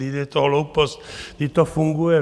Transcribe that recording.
Vždyť je to hloupost, vždyť to funguje.